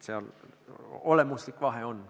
Seal on olemuslik vahe.